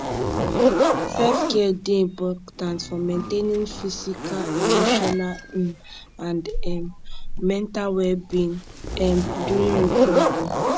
selfcare dey important for maintaining physical emotional um and um mental wellbeing um during recovery